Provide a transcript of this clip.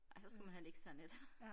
Ej så skal man have et eksternt et